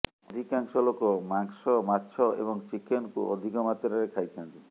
ଅଧିକାଂଶ ଲୋକ ମାଂସ ମାଛ ଏବଂ ଚିକେନକୁ ଅଧିକ ମାତ୍ରାରେ ଖାଇଥାନ୍ତି